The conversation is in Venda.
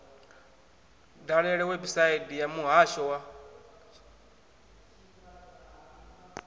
dalele website ya muhasho wa